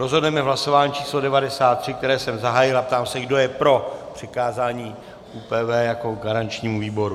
Rozhodneme v hlasování číslo 93, které jsem zahájil, a ptám se, kdo je pro přikázání ÚPV jako garančnímu výboru.